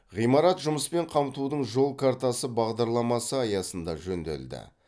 ғимарат жұмыспен қамтудың жол картасы бағдарламасы аясында жөнделді